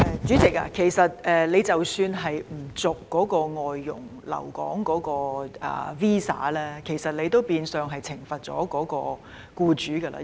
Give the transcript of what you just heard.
主席，不延續有關外傭的留港 visa， 其實變相是懲罰他們的僱主。